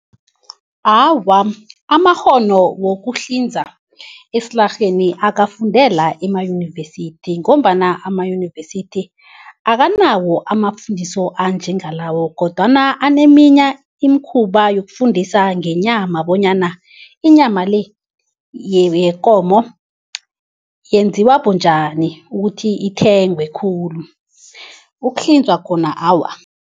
Awa, amakghono wokuhlinza esilarheni akafundelwa emayunivesithi ngombana amayunivesithi akanawo amafundiso anjengalawo kodwana aneminya imikhuba yokufundisa ngenyama bonyana inyama le yekomo yenziwa bunjani ukuthi ithengwe khulu, ukuhlinzwa khona awa.